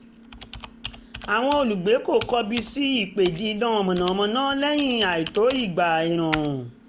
àwọn olùgbé kò kọbi sí ípè dín iná mànàmáná lẹ́yìn àìtó iná ìgbà ẹ̀rùn